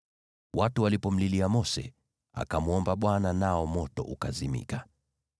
Watu walipomlilia Mose, akamwomba Bwana , nao moto ukazimika.